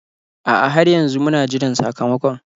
A'a, har yanzu muna jiran sakamakon.